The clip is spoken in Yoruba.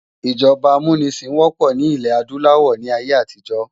ijọba ámúnisin wòpò ni ilè-ádùláwò ni àiyé átijò